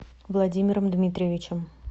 владимиром дмитриевичем